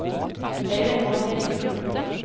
Øyvind Marthinsen